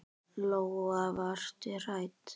Lóa: Varstu hrædd?